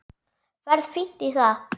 Ferð fínt í það.